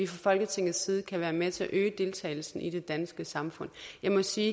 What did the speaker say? folketingets side kan være med til at øge deltagelsen i det danske samfund jeg må sige